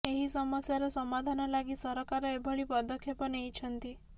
ଏହି ସମସ୍ୟାର ସାମାଧାନ ଲାଗି ସରକାର ଏଭଳି ପଦକ୍ଷେପ ନେଇଛନ୍ତି